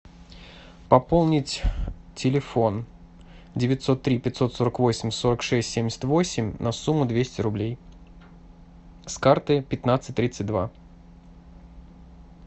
пополнить телефон девятьсот три пятьсот сорок восемь сорок шесть семьдесят восемь на сумму двести рублей с карты пятнадцать тридцать два